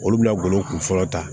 Olu bɛna golo kunfɔlɔ ta